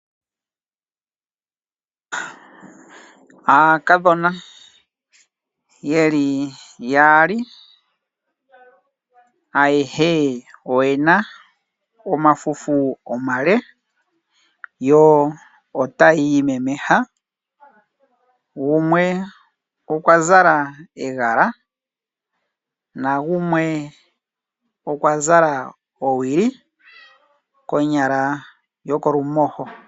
Aakadhona yeli yaali ayeshe oyena omafufu omale yo otayiimemesha gumwe okwa zala egala nagumwe okwazala owili konyala yokolumosho.